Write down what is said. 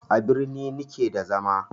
A birni ni ke da zama